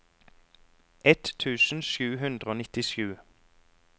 ett tusen sju hundre og nittisju